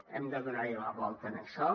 hem de donar hi una volta a això